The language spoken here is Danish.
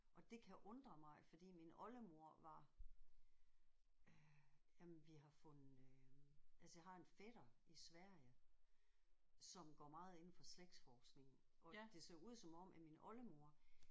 Og det kan undre mig fordi min oldemor var øh jamen vi har fundet øh altså jeg har en fætter i Sverige som går meget ind for slægtsforskning og det ser ud som om at min oldemor